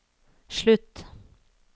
slutt